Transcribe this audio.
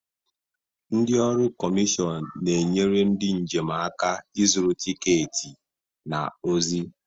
Ndị ọrụ kọmishọn na-enyere ndị njem aka ịzụrụ tiketi na ozi.